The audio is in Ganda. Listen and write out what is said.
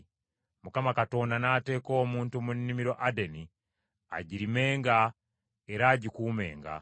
Mukama Katonda n’ateeka omuntu mu nnimiro Adeni agirimenga era agikuumenga.